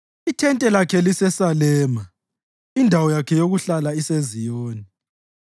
Ithente lakhe liseSalema, indawo yakhe yokuhlala iseZiyoni.